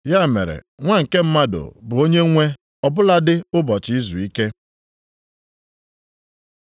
Ya mere, Nwa nke Mmadụ bụ Onyenwe ọ bụladị ụbọchị izuike.